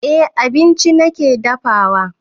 Eh abinci nake dafawa